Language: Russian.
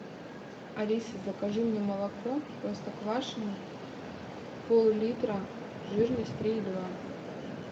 алиса закажи мне молоко простоквашино поллитра жирность три и два